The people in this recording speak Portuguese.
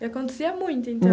E acontecia muito, então.